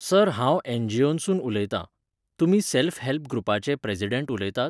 Sir हांव एनजीओनसून उलयतां. तुमी सॅल्फ हॅल्प ग्रुपाचे प्रॅजिडण्ट उलयतात?